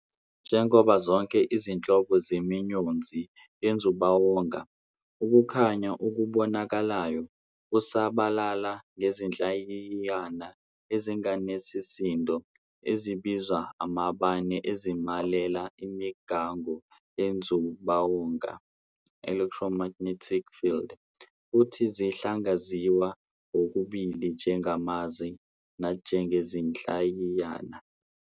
Njengazo zonke izinhlobo zemiyonzi yenzubawonga, ukukhanya okubonakalayo busabalala ngezinhlayiyana ezingenasisindo ezibizwa amabane ezimelela imingako yenzubawonga "electromagnetic field", futhi zingahlaziywa kokubili njengamaza nanjengezinhlayiyana.